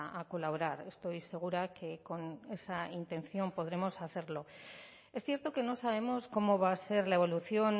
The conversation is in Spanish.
a colaborar estoy segura que con esa intención podremos hacerlo es cierto que no sabemos cómo va a ser la evolución